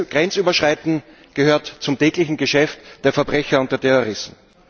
Grenzüberschreiten gehört zum täglichen Geschäft der Verbrecher und der Terroristen.